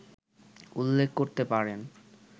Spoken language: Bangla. উল্লেখ করতে পারেন